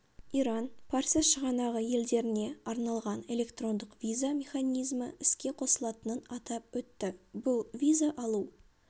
иран парсы шығанағы елдеріне арналған электрондық виза механизмі іске қосылатынын атап өтті бұл виза алу